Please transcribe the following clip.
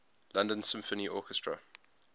london symphony orchestra